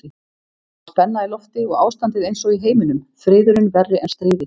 Það var spenna í lofti og ástandið einsog í heiminum, friðurinn verri en stríðið.